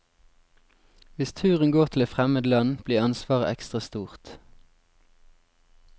Hvis turen går til et fremmed land, blir ansvaret ekstra stort.